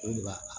O de b'a